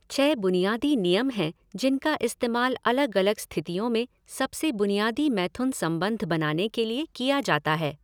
छह बुनियादी नियम हैं जिनका इस्तेमाल अलग अलग स्थितियों में सबसे बुनियादी मैथुन संबंध बनाने के लिए किया जाता है।